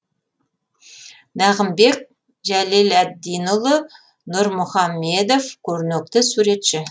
нағымбек жәлеләддинұлы нұрмүхамедов көрнекті суретші